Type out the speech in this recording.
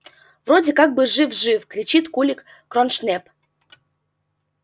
вроде как бы жив жив кричит кулик кроншнеп